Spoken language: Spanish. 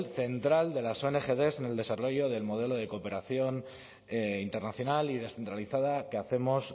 central de las ongd en el desarrollo del modelo de cooperación internacional y descentralizada que hacemos